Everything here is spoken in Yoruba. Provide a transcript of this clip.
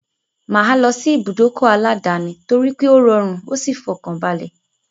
Mà á lọ sí ìbùdókọ̀ aláàdáni torípé ó rọrùn ó sì fọkànbalẹ̀.